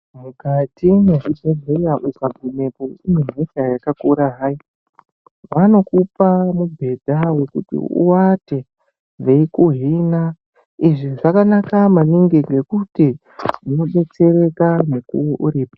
Mukati mwezvibhedhleya ukagumepo unehosha yakakura hai, vanokupa mubhedha wekuti uvate veikuhina. Izvi zvakanaka maningi ngekuti unonobetsereka mukuvo uripo.